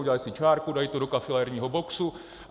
Udělají si čárku, dají to do kafilerního boxu.